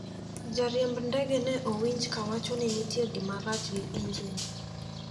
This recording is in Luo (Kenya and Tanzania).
Jariemb ndege ne owinj kawacho ni ne nitie gimarach gi injin.